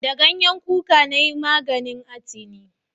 Da ganyen kuka na yi maganin atini